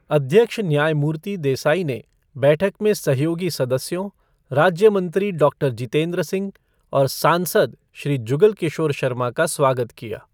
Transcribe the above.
अध्यक्ष न्यायमूर्ति देसाई ने बैठक में सहयोगी सदस्यों, राज्य मंत्री डॉक्टर जितेंद्र सिंह और सांसद श्री जुगल किशोर शर्मा का स्वागत किया।